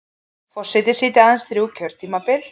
Forseti sitji aðeins þrjú kjörtímabil